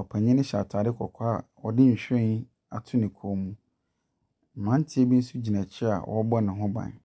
Ɔpanyin no hyɛ ataade kɔkɔɔ a ɔde nwhiren ato ne kɔn mu. Mmaranteɛ bi nso gyina akyire a wɔrebɔ ne ho ban.